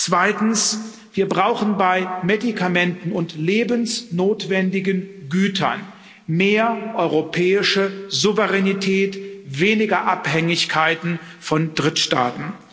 Zweitens Wir brauchen bei Medikamenten und lebensnotwendigen Gütern mehr europäische Souveränität, weniger Abhängigkeiten von Drittstaaten.